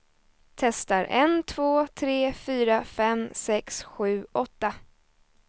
Testar en två tre fyra fem sex sju åtta.